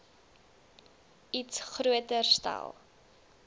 iets groter stel